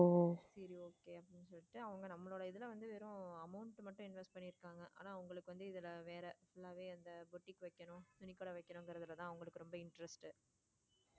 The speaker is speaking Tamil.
சரி okay அப்படின்னு சொல்லிட்டு அவங்க நம்மதுல வந்து வெறும் amount மட்டும் invest பண்ணி இருக்காங்க ஆனா அவங்களுக்கு வந்து இதுல வேற full லா வே இந்த புட்டிக்கு வைக்கணும் துணி கடை வைகனும்கிரதுல தான் அவங்களுக்கு ரொம்ப interest.